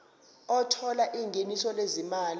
othola ingeniso lezimali